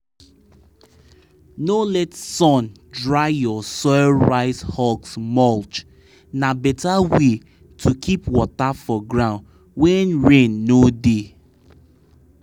no let sun dry your soil rice husk mulch na better way to keep water for ground when rain no dey.